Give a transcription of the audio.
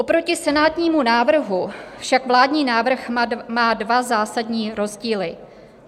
Oproti senátnímu návrhu však vládní návrh má dva zásadní rozdíly.